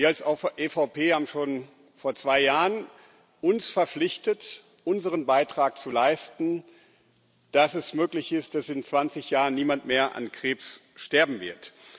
Wir als EVP haben uns schon vor zwei Jahren verpflichtet, unseren Beitrag zu leisten, damit es möglich ist, dass in 20 Jahren niemand mehr an Krebs sterben wird.